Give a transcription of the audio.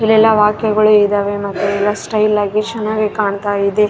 ಇಲ್ಲೆಲ್ಲಾ ವಾಕ್ಯಗಳು ಇದಾವೆ ಮತ್ತೆ ಎಲ್ಲ ಸ್ಟೈಲ್ ಆಗಿ ಚೆನ್ನಾಗಿ ಕಾಣ್ತಾ ಇದೆ.